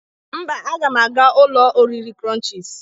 Mba, aga m aga ụlọ oriri krụnchịz.